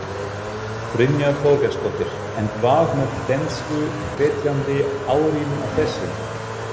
Brynja Þorgeirsdóttir: En hvað með þensluhvetjandi áhrifin af þessu?